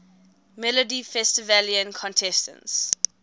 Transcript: melodifestivalen contestants